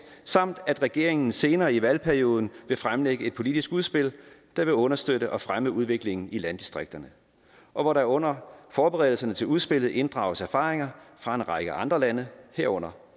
samt at regeringen senere i valgperioden vil fremlægge et politisk udspil der vil understøtte og fremme udviklingen i landdistrikterne og hvor der under forberedelserne til udspillet inddrages erfaringer fra en række andre lande herunder